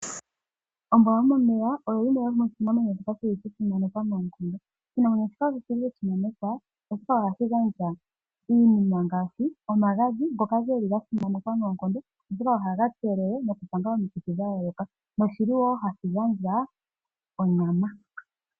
Ombwa yo momeya pyo yimwe yo moshinamwenyo shoka sha simanekwa noonkondo. Oshinamwenyo shika oshi li sha simanekwa oshoka ohashi gandja iinima ngaashi omagadhi ngoka geli ga simanekwa noonkondo, oshoka ohaga kelele nokupanga omikithi dha yooloka. Noshi li wo hashi gandja onyama.